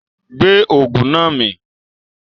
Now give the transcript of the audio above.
Gbé Ògùn náà mì!